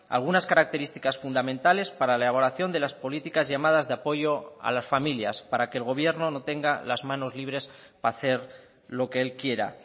algunas características fundamentales para la elaboración de las políticas llamadas de apoyo a las familias para que el gobierno no tenga las manos libres para hacer lo que él quiera